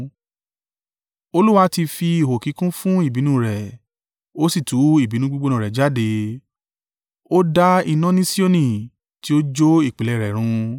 Olúwa ti fi ihò kíkún fún ìbínú rẹ̀; ó sì tú ìbínú gbígbóná rẹ̀ jáde. Ó da iná ní Sioni tí ó jó ìpìlẹ̀ rẹ̀ run.